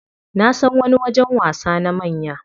Nasan wani wajen wasa na manya.